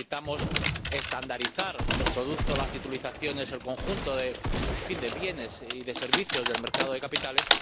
Necesitamos estandarizar los productos las titulizaciones, el conjunto de bienes y de servicios del mercado de capitales.